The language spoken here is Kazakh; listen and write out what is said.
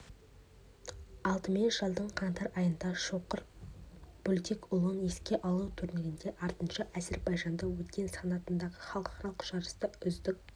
алдымен жылдың қаңтар айында шоқыр бөлтекұлын еске алу турнирінде артынша әзербайжанда өткен санатындағы халықаралық жарыста үздік